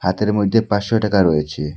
হাতের মধ্যে পাঁশশো টাকা রয়েছে।